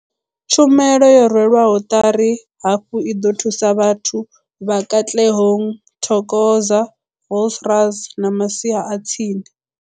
Tshumelo yo rwelwaho ṱari hafhu i ḓo thusa vhathu vha Katlehong, Thokoza, Vosloorus na masia a tsini.